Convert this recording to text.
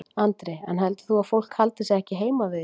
Andri: En heldur þú að fólk haldi sig ekki heima við í dag?